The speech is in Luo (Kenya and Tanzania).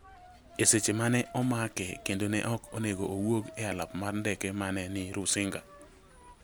e seche ma ne omake kendo ne ok onego owuok e alap mar ndeke ma ne ni Rusinga.